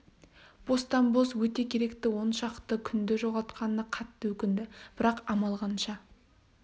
бостан-бос өте керекті он шақты күнді жоғалтқанына қатты өкінді бірақ амал қанша